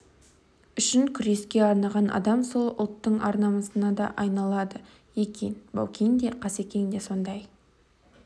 үшін күреске арнаған адам сол ұлттың ар-намысына да айналады екен баукең де қасекең де сондай